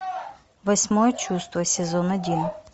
восьмое чувство сезон один